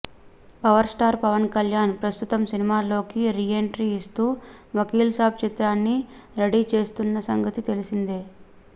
power star Pawan Kalyan ప్రస్తుతం సినిమాల్లోకి reentry ఇస్తూ వకీల్ సాబ్ చిత్రాన్ని రెడీ చేస్తున్న సంగతి తెలిసిందే